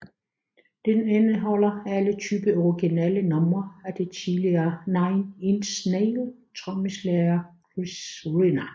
Den indeholder alle tyve originale numre af den tidligere Nine Inch Nails trommeslager Chris Vrenna